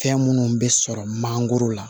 Fɛn minnu bɛ sɔrɔ manangoro la